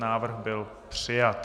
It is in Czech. Návrh byl přijat.